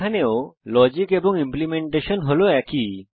এখানেও লজিক এবং ইমপ্লিমেন্টেশন হল একই